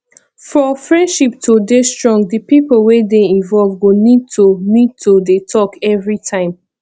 for friendship to dey strong di pipo wey dey involve go need to need to dey talk everytime